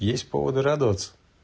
есть повод радоваться